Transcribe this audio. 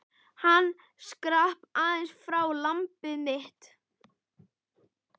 Hann skrapp aðeins frá, lambið mitt.